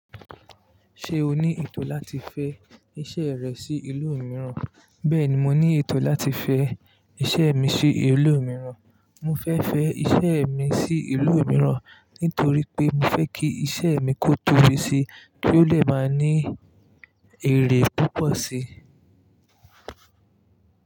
Ṣé o ní ètò láti fẹ iṣẹ́ rẹ sí ìlú mìíràn? Bẹ́ẹ̀ni, mo ní ètò láti fẹ iṣẹ́ mi sí ìlú mìíràn. Mo fẹ́ fẹ́ iṣẹ́ mi sí ìlú mìíràn nítorí pé mo fẹ́ kí iṣẹ́ mi kó tóbi síi kí ó le máa ní èrè púpọ̀ síi.